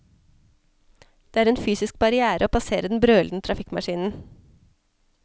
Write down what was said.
Det er en fysisk barrière å passere den brølende trafikkmaskinen.